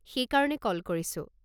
সেইকাৰণে কল কৰিছোঁ।